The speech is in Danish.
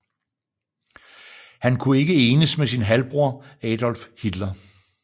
Han kunne ikke enes med sin halvbror Adolf Hitler